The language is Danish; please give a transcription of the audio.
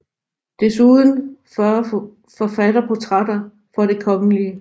Desuden 40 forfatterportrætter for Det Kgl